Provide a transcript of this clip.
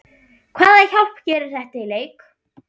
Hvaða hjálp gerir þetta í leik?